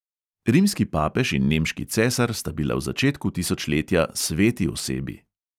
Rimski papež in nemški cesar sta bila v začetku tisočletja sveti osebi.